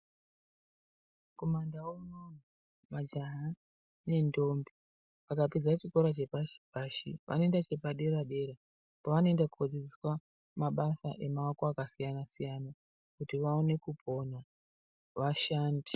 Kumandau unono majaha nentombi vapedza chiora chepashi-pashi vanoenda chepadera-dera kwavanoenda kodzidziswa mabasa emaoko akasiyana kuti vaone kupona vashande.